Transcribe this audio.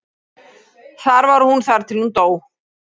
Þar var hún þar til hún dó.